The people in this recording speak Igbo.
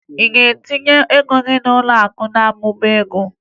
Ị ga-etinye ego gị n'ụlọakụ mmụba ego?